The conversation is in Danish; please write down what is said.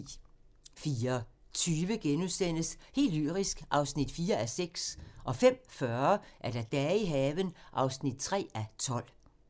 04:20: Helt lyrisk (4:6)* 05:40: Dage i haven (3:12)